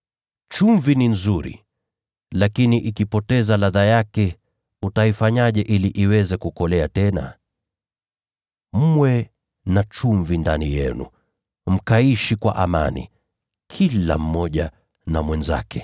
“Chumvi ni nzuri, lakini ikipoteza ladha yake utaifanyaje ili iweze kukolea tena? Mwe na chumvi ndani yenu, mkaishi kwa amani, kila mmoja na mwenzake.”